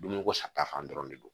Dumuni ko sata fan dɔ de don